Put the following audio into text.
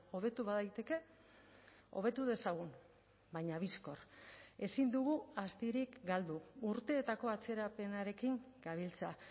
hobetu badaiteke hobetu dezagun baina bizkor ezin dugu astirik galdu urteetako atzerapenarekin gabiltza